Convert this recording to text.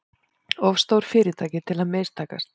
Of stór fyrirtæki til að mistakast